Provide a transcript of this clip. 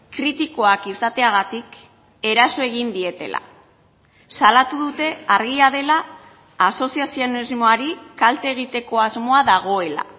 kritikoak izateagatik eraso egin dietela salatu dute argia dela asoziazionismoari kalte egiteko asmoa dagoela